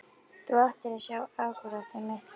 Þú ættir að sjá akkúrat í mitt húsið.